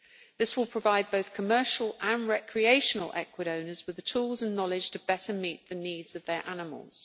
This will provide both commercial and recreational equidae owners with the tools and knowledge to better meet the needs of their animals.